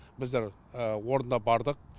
біздер орында бардық